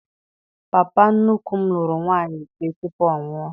Papa nnukwu m lụrụ nwaanyị ise tupu ọnwụ a.